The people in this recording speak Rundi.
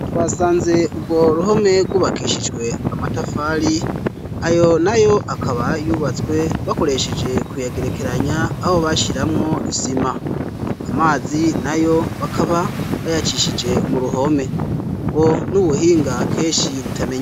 twasanze ubwo ruhome gubakishijwe amatafali ayo nayo akaba yubatswe bakoresheje kuyagerekeranya aho bashiramwo isima amazi nayo bakaba bayacishije mu ruhome ubwo n'ubuhinga keshi butmee